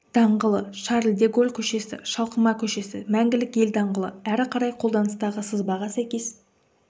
даңғылы шарль де голль көшесі шалқыма көшесі мәңгілік ел даңғылы әрі қарай қолданыстағы сызбаға сәйкес